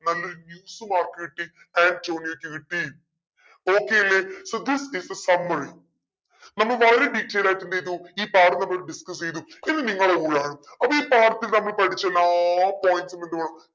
നല്ലൊരു news ഉം ആർക്ക് കിട്ടി ആന്റോണിയോക്ക് കിട്ടി okay അല്ലെ so this is the summary നമ്മ വളരെ detail ആയിട്ടെന്തെയിതു ഈ പാഠം നമ്മൾ discuss ചെയ്തു ഇനി നിങ്ങളെ ഊഴാണ് അപ്പോ ഈ പാഠത്തിൽ നമ്മൾ പഠിച്ച എല്ലാ points ഉം എന്ത് വേണം